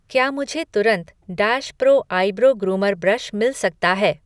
क्या मुझे तुरंत dash pro eyebrow groomer brush मिल सकता है?